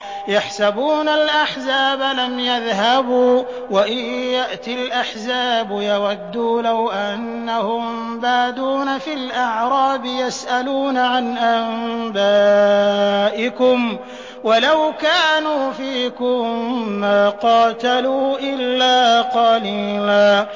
يَحْسَبُونَ الْأَحْزَابَ لَمْ يَذْهَبُوا ۖ وَإِن يَأْتِ الْأَحْزَابُ يَوَدُّوا لَوْ أَنَّهُم بَادُونَ فِي الْأَعْرَابِ يَسْأَلُونَ عَنْ أَنبَائِكُمْ ۖ وَلَوْ كَانُوا فِيكُم مَّا قَاتَلُوا إِلَّا قَلِيلًا